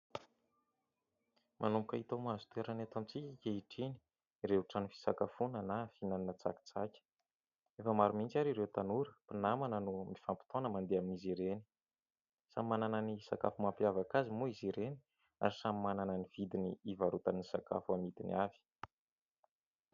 Manomboka hita mahazo toerany eto amintsika ankehitriny ireo trano fisakafoana na fihinanana tsakitsaky, efa maro mihintsy ary ireo tanora mpinamana no mifampitaona mandeha amin'izy ireny, samy manana ny sakafo mampiavaka azy moa izy ireny ary samy manana ny vidiny hivarotan'ny sakafo amidiny avy.